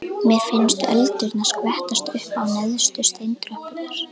Mér finnst öldurnar skvettast upp á neðstu steintröppurnar.